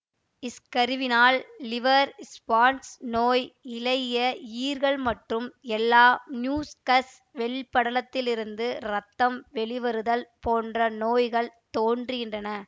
ஸ்கர்வினால் liver spots நோய் இளகிய ஈறுகள் மற்றும் எல்லா மியூஸ்க்கஸ் மென்படலங்களிலிருந்தும் இரத்தம் வெளிவருதல் போன்ற நோய்கள் தோன்றுகின்றன